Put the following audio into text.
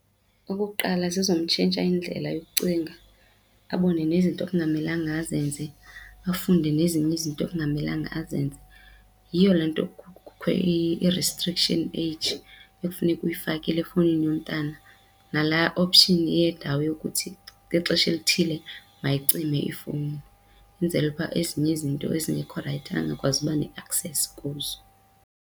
Okokuqala, zizomtshintsha indlela yokucinga abone nezinto ekungamelanga azenze, afunde nezinye izinto ekungamelanga azenze. Yiyo le nto kukho i-restriction age ekufuneka uyifakile efowunini yomntana nala option yendawo yokuthi ngexesha elithile mayicime ifowuni. Yenzelwe ukuba ezinye izinto ezingekho rayithi angakwazi uba ne-access kuzo.